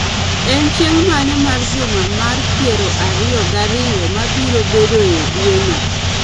en chieng' mane mar juma mar piero ariyo gariyo mabiro bedoe e dweno